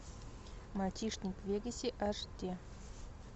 мальчишник в вегасе аш ди